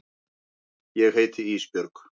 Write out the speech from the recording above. Ég heiti Ísbjörg.